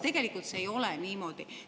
Tegelikult ei ole see niimoodi.